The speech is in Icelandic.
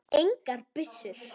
Engar byssur.